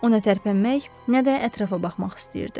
Nə tərpənmək, nə də ətrafa baxmaq istəyirdi.